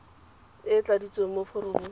e e tladitsweng mo foromong